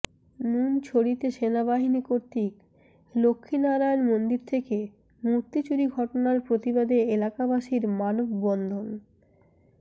নুনছড়িতে সেনাবাহিনী কর্তৃক লক্ষী নারায়ন মন্দির থেকে মুর্তি চুরি ঘটনার প্রতিবাদে এলাকাবাসীর মানববন্ধন